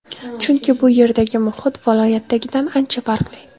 Chunki bu yerdagi muhit viloyatdagidan ancha farqli.